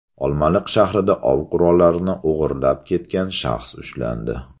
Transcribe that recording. Olmaliq shahrida ov qurollarini o‘g‘irlab ketgan shaxs ushlandi.